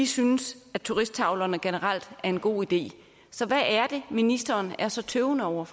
synes at turisttavlerne generelt er en god idé så hvad er det ministeren er så tøvende over